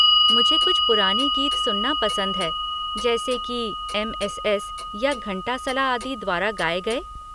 मुझे कुछ पुराने गीत सुनना पसंद है जैसे कि एम.एस.एस. या घंटासला आदि द्वारा गाए गए।